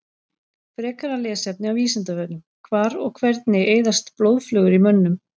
Frekara lesefni á Vísindavefnum: Hvar og hvernig eyðast blóðflögur í mönnum?